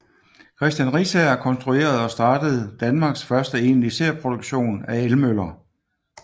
Christian Riisager konstruerede og startede Danmarks første egentlige serieproduktion af elmøller